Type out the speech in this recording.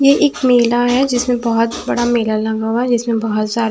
ये एक मेला है जिसमें बहुत बड़ा मेला लगा हुआ है जिसमें बहुत सारे--